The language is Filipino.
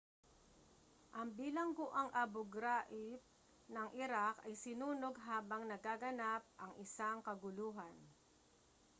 ang bilangguang abu ghraib ng iraq ay sinunog habang nagaganap ang isang kaguluhan